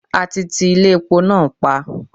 A ti ti Ilé epo náà pa.